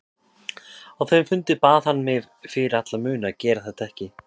Á þeim fundi bað hann mig fyrir alla muni að gera þetta ekki.